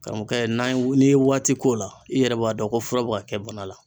Karamɔɔkɛ n'an ye n'i ye waati k'o la i yɛrɛ b'a dɔn ko fura bɛ ka kɛ bana la.